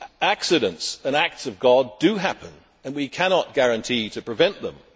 Accidents and acts of God do happen, and we cannot guarantee to prevent them.